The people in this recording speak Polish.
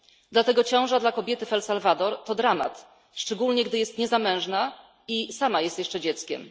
Dlatego ciąża dla kobiety w Salwadorze to dramat, szczególnie gdy jest niezamężna i sama jest jeszcze dzieckiem.